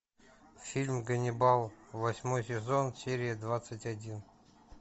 фильм ганнибал восьмой сезон серия двадцать один